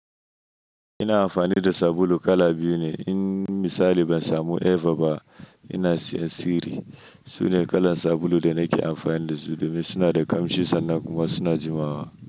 Ina amfani da sabulu kala biyu ne. In misali ban samu Eva ba, ina siyan Siri. Sune kalan sabulu da nake amfani da su domin suna da ƙamshi sannan kuma suna jimawa.